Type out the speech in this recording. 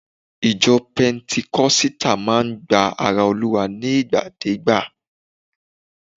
Ìjọ pentikosita máa ń gba ara Olúwa nigbadeegba